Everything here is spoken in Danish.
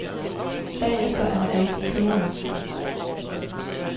Bagefter er man altid klogere.